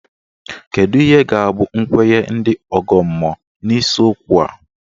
Kedụ ihe ga-abụ nkwenye ndị ọgọ mmụọ n'isiokwu a?